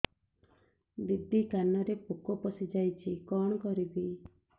ଦିଦି କାନରେ ପୋକ ପଶିଯାଇଛି କଣ କରିଵି